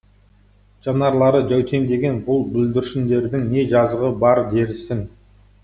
жанарлары жәутеңдеген бұл бүлдіршіндердің не жазығы бар дерсің